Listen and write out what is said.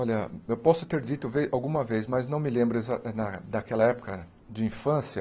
Olha, eu posso ter dito ve alguma vez, mas não me lembro exa na daquela época de infância.